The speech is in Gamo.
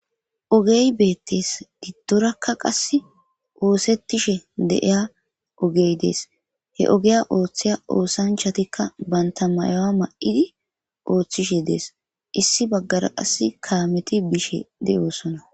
ogey beettees diddorakka qas oosettishe de7iya ogey dees he ogeya ooththiya oosanchatikka banta mayowa ma7idi ooththishe dees issi baggara qas kaameti biishe de7oosona